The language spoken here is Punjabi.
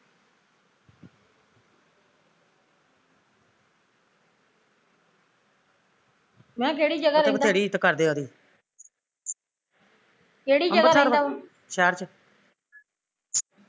ਮੈਂ ਕਿਹਾਂ ਕਿਹੜੀ ਜਗਾ ਰਹਿੰਦਾ ਕਿਹੜੀ ਜਗਾ ਰਹਿੰਦਾ